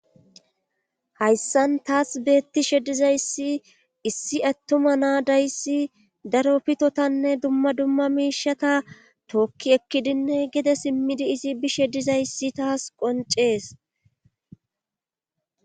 hayssan taas beetti sheddizayssi issi attuma naadayssi daro pitotanne dumma dumma miishata tookki ekkidinne gide simmidi izi bi shedizayssi taas qoncees